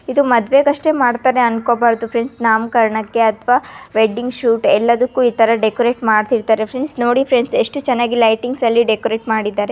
ಇದು ಮದುವೆಗಷ್ಟೇ ಮಾಡತ್ತರೆ ಅನ್ನಕೋಬಾರದು ಫ್ರೆಂಡ್ಸ್ ನಾಮಕರಣಕ್ಕೆ ಅಥವಾ ವೆಡ್ಡಿಂಗ್ ಸ್ವೀಟ್ ಎಲ್ಲದಕ್ಕೂ ಇತರ ಡೆಕೋರೇಷನ್ ಮಾಡ್ತಾ ಇರ್ತಾರೆ ನೋಡಿ ಫ್ರೆಂಡ್ಸ್ ಎಷ್ಟು ಚೆನ್ನಾಗಿ ಲೈಟಿಂಗ್ಸ್ ನಿಮಗೆ ಡೆಕೋರೇಷನ್ ಮಾಡಿದ್ದಾರೆ.